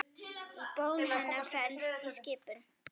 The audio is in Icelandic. Í bón hennar felst skipun.